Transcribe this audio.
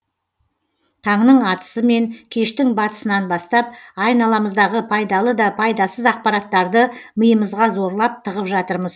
таңның атысы мен кештің батысынан бастап айналамыздағы пайдалы да пайдасыз ақпараттарды миымызға зорлап тығып жатырмыз